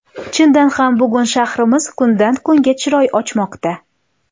Chindan ham, bugun shahrimiz kundan kunga chiroy ochmoqda.